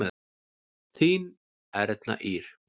Þín Erna Ýr.